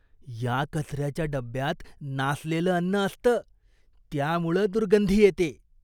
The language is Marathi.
या कचऱ्याच्या डब्ब्यात नासलेलं अन्न असतं, त्यामुळं दुर्गंधी येते.